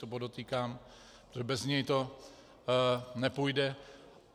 To podotýkám, protože bez něj to nepůjde.